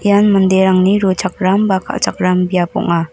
ian manderangni rochakram ba kal·chakram biap ong·a.